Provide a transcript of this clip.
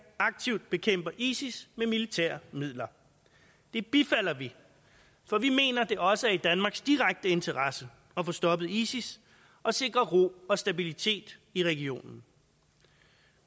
aktivt bekæmper isis med militære midler det bifalder vi for vi mener det også er i danmarks direkte interesse at få stoppet isis og sikre ro og stabilitet i regionen